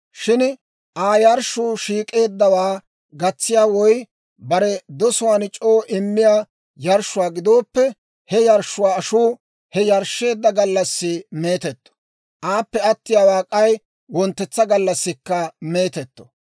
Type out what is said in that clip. « ‹Shin Aa yarshshuu shiik'k'eeddawaa gatsiyaa woy bare dosuwaan c'oo immiyaa yarshshuwaa gidooppe, he yarshshuwaa ashuu he yarshsheedda gallassi meetetto; aappe attiyaawaa k'ay wonttetsa gallassikka meetetto.